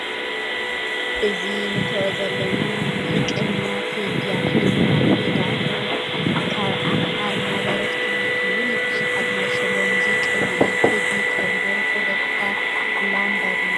እዚ ንተኦ ዘለና ሙዚቀኛ ተዲ ኣፍሮ ይበሃል። ቴዲ ኣፍሮ ካብ ኣማሓርና ደርፍቲ እተውሩይ ብዙሕ ኣድማፂ ዘለዎ ሙዚቀኛ እዩ። ቴዲ ካብ ዝደረፎ ደርፍታት ላምባዲና ትብል እያ ።